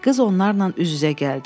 Qız onlarla üz-üzə gəldi.